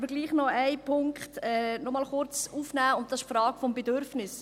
Ich möchte aber einen Punkt trotzdem noch einmal kurz aufnehmen: die Frage des Bedürfnisses.